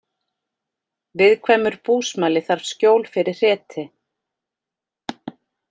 Viðkvæmur búsmali þarf skjól fyrir hreti